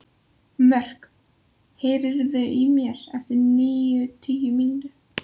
Mörk, heyrðu í mér eftir níutíu mínútur.